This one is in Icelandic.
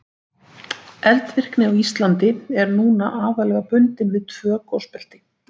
Eldvirkni á Íslandi er núna aðallega bundin við tvö gosbelti.